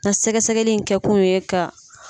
A sɛgɛ-sɛgɛli in kɛ kun ye ka